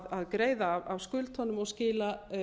að greiða af skuldunum og skila